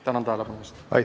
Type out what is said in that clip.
Tänan tähelepanu eest!